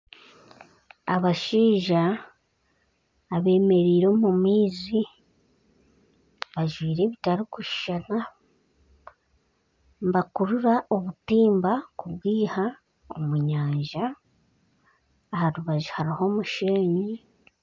Abashaija abemereire omu maizi bajwire ebitarikushushana. Nibakurura obutimba kubwiha omunyanja. Aharubaju hariho omushenyi.